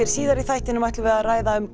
síðar í þættinum ætlum við að ræða um